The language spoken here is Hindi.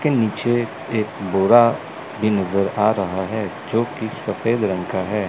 के नीचे एक बोरा भी नज़र आ रहा है जो की सफेद रंग का है।